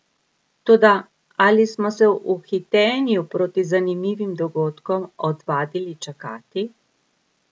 Toda ali smo se v hitenju proti zanimivim dogodkom odvadili čakati?